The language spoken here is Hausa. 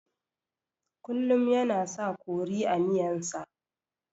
Kullun yana sa kori a miyan sa